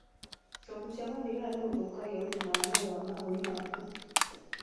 Kũgucia gwa thigara nĩgũthũkagia ũgima wa mwĩrĩ wa mahũri maku